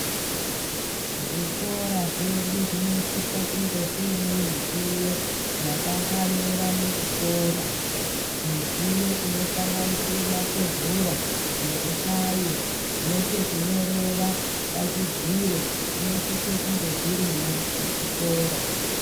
Zvikora zvedu zvinosisa kunge zvine midziyo yakafanira muchikora, midziyo inosanganisire matebhura nezvihlayo nepekunyorera pachidziro zvinosise kunge zvirimwo muchikora.